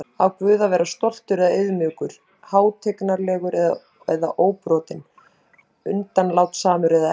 Á Guð að vera stoltur eða auðmjúkur, hátignarlegur eða óbrotinn, undanlátssamur eða ekki?